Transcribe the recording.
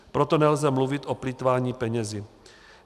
Proto nelze mluvit o plýtvání penězi.